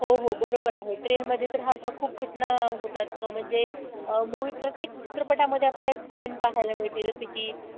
हो हो बरोबर आहे train मध्ये तर ह्या अशा खूप घटना होतात म्हणजे movie प्रत्येक चित्रपटामध्ये आपल्याला एक train पाहायला मिळते जस कि,